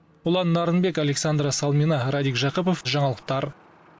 ұлан нарынбек александра салмина радик жақыпов жаңалықтар